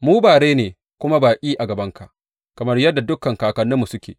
Mu bare ne kuma baƙi a gabanka, kamar yadda dukan kakanninmu suke.